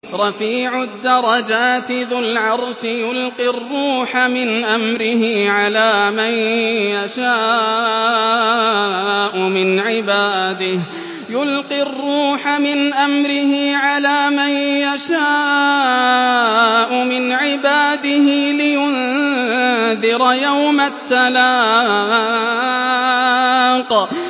رَفِيعُ الدَّرَجَاتِ ذُو الْعَرْشِ يُلْقِي الرُّوحَ مِنْ أَمْرِهِ عَلَىٰ مَن يَشَاءُ مِنْ عِبَادِهِ لِيُنذِرَ يَوْمَ التَّلَاقِ